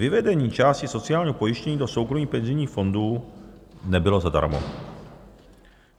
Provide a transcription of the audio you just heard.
Vyvedení části sociálního pojištění do soukromých penzijních fondů nebylo zadarmo.